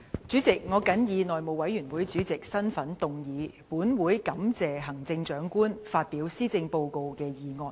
主席，我謹以內務委員會主席的身份動議"本會感謝行政長官發表施政報告"的議案。